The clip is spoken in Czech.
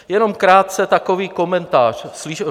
Jenom krátce takový komentář.